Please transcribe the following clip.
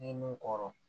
N'i ye mun kɔrɔ